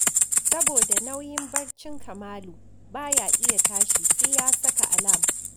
Saboda nauyin barcin Kamalu, ba ya iya tashi sai ya saka alam